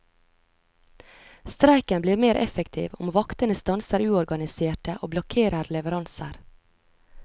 Streiken blir mer effektiv om vaktene stanser uorganiserte og blokkerer leveranser.